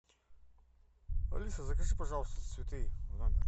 алиса закажи пожалуйста цветы в номер